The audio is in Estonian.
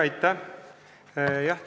Aitäh!